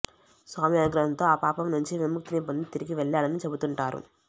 స్వామి అనుగ్రహంతో ఆ పాపం నుంచి విముక్తిని పొంది తిరిగివెళ్లాడని చెబుతుంటారు